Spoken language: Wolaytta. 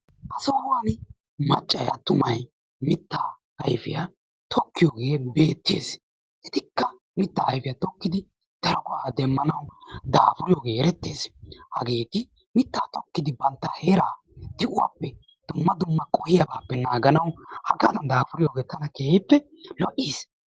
Ha sohuwan maccay attumay mittaa ayfiya tokkiyooge beettees. etikka mitta tokkidi daro muruta demmanaw daafuriyooge eretees. hageeti mitta tokkidi bantta heera de'uwaappe dumma dumma qohiyaappe naganawu daafuriyoge tana keehippe lo'iis.